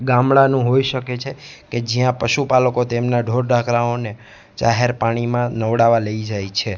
ગામડાનું હોઈ શકે છે કે જ્યાં પશુપાલકો તેમના ઢોર ઢાકરાવો ને જાહેર પાણીમાં નવડાવવા લઈ જાય છે.